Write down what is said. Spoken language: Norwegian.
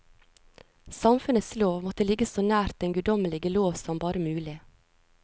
Samfunnets lov måtte ligge så nært den guddommelige lov som bare mulig.